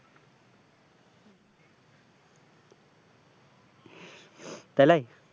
তালেই